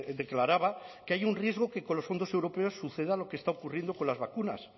declaraba que hay un riesgo que con los fondos europeos suceda lo que está ocurriendo con las vacunas